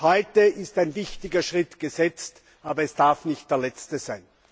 Heute ist ein wichtiger Schritt gesetzt, aber es darf nicht der letzte sein.